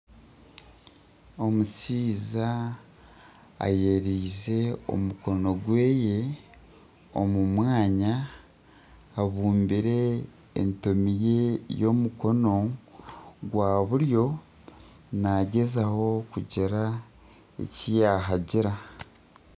Omushaija ayereize omukono gweye omu mwanya abumbire entomi ye y'omukono gwa buryo nagyezaho kugira eki yaahagira.